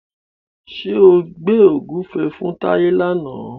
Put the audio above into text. Ṣé o gbẹ́ ògúnfe fún Táyé làna?